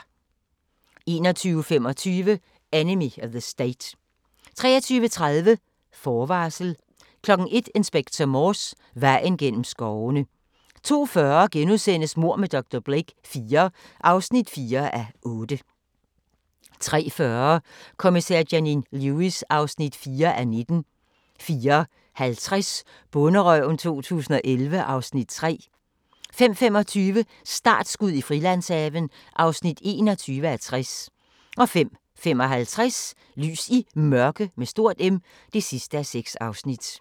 21:25: Enemy of the State 23:30: Forvarsel 01:00: Inspector Morse: Vejen gennem skovene 02:40: Mord med dr. Blake IV (4:8)* 03:40: Kommissær Janine Lewis (4:19) 04:50: Bonderøven 2011 (Afs. 3) 05:25: Startskud i Frilandshaven (21:60) 05:55: Lys i Mørke (6:6)